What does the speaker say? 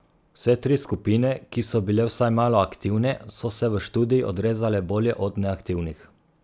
Vse tri skupine, ki so bile vsaj malo aktivne, so se v študiji odrezale bolje od neaktivnih.